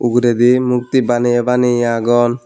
uguredi mukti baneye baneye agon.